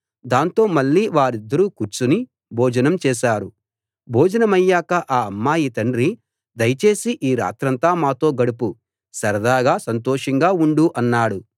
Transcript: దాంతో మళ్ళీ వారిద్దరూ కూర్చుని భోజనం చేశారు భోజనమయ్యాక ఆ అమ్మాయి తండ్రి దయచేసి ఈ రాత్రంతా మాతో గడుపు సరదాగా సంతోషంగా ఉండు అన్నాడు